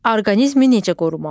Orqanizmi necə qorumalı?